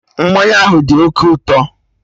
Mmanya ahụ dị oké ụtọ